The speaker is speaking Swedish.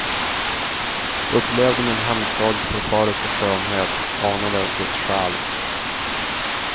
Upplevde min hemstads förföriska skönhet, anade dess själ.